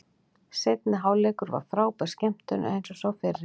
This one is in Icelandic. Seinni hálfleikur var frábær skemmtun eins og sá fyrri.